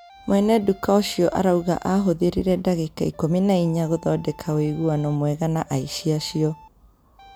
mwene nduka ũcio arauga ahũthĩrire ndagĩka ikumi na inya gũthonndeka ũiguano mwega na aici acio